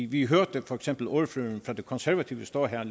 vi hørte for eksempel ordføreren for de konservative stå her